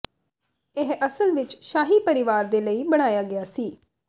ਇਹ ਅਸਲ ਵਿੱਚ ਸ਼ਾਹੀ ਪਰਿਵਾਰ ਦੇ ਲਈ ਬਣਾਇਆ ਗਿਆ ਸੀ